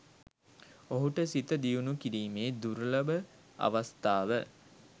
ඔහුට සිත දියුණු කිරීමේ දුර්ලභ අවස්ථාව